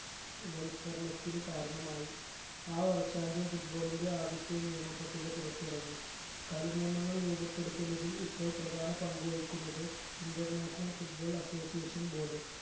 വൽക്കരണത്തിന് കാരണമായി ആ വർഷാന്ത്യം football ന്റെ ആദ്യത്തെ നിയമം പട്ടിക പുറത്തിറങ്ങി കളി നിയമങ്ങൾ രൂപപ്പെടുത്തുന്നതിൽ ഇപ്പോൾ പ്രധാന പങ്ക് വഹിക്കുന്നത് international football association board